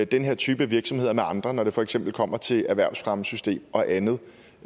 den her type virksomhed med andre når det for eksempel kommer til erhvervsfremmesystemet og andet